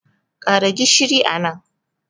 Ƙara gishin nan